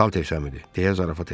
Salter Səmidi deyə zarafat elədi.